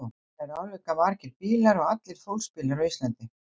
Þetta eru álíka margir bílar og allir fólksbílar á Íslandi.